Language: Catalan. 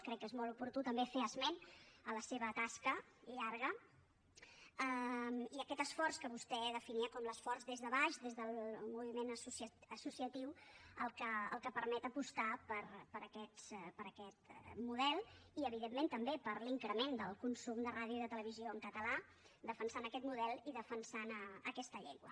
crec que és molt oportú també fer esment a la seva tasca llarga i a aquest esforç que vostè definia com l’esforç des de baix des del moviment associatiu que permet apostar per aquest model i evidentment també per l’increment del consum de ràdio i de televisió en català defensant aquest model i defensant aquesta llengua